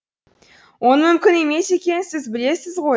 оның мүмкін емес екенін сіз білесіз ғой